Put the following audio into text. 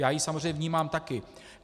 Já ji samozřejmě vnímám taky.